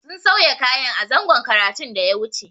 Sun sauya kayan a zangon karatun da ya wuce.